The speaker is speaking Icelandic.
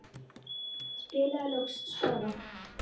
Spilaði loks spaða.